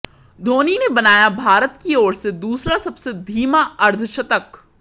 धोनी ने बनाया भारत की ओर से दूसरा सबसे धीमा अर्धशतक